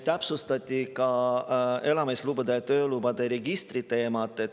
Täpsustati elamislubade ja töölubade registri teemat.